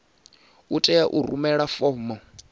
u tea u rumela fomo